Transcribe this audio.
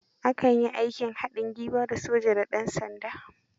A kan yi aikin hadin gwiwa, da soja da dansanda.